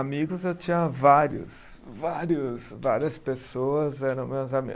Amigos eu tinha vários, vários várias pessoas eram meus ami